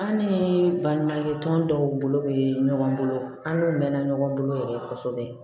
An ni baɲumankɛ tɔn dɔw bolo bɛ ɲɔgɔn bolo an n'u mɛnna ɲɔgɔn bolo yɛrɛ kosɛbɛ